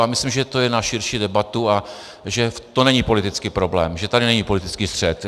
A myslím, že to je na širší debatu a že to není politický problém, že tady není politický střet.